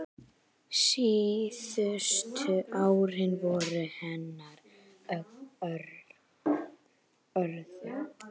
Síðustu árin voru henni örðug.